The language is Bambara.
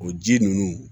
O ji ninnu